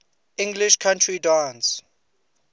english country dance